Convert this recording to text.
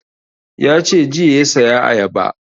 Ya ce jiya ya saya ayaba